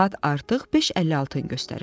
Saat artıq 5:56-nı göstərirdi.